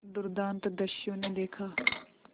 दुर्दांत दस्यु ने देखा